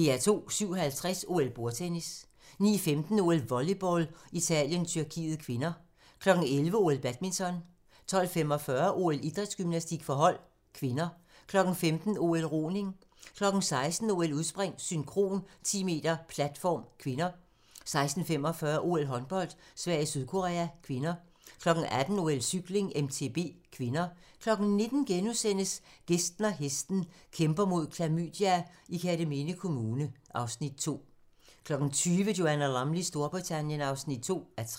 07:50: OL: Bordtennis 09:15: OL: Volleyball - Italien-Tyrkiet (k) 11:00: OL: Badminton 12:45: OL: Idrætsgymnastik for hold (k) 15:00: OL: Roning 16:00: OL: Udspring, synkron, 10 m platform (k) 16:45: OL: Håndbold - Sverige-Sydkorea (k) 18:00: OL: Cykling, MTB (k) 19:00: Gæsten og hesten - Kæmper mod klamydia i Kerteminde Kommune (Afs. 2)* 20:00: Joanna Lumleys Storbritannien (2:3)